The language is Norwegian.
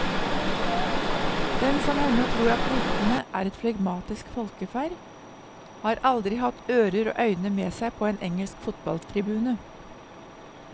Den som ennå tror at britene er et flegmatisk folkeferd, har aldri hatt ører og øyne med seg på en engelsk fotballtribune.